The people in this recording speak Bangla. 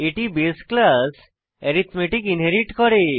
এটি বাসে ক্লাস অ্যারিথমেটিক ইনহেরিট করে